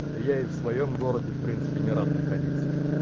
да я и в своём городе в принципе не рад находиться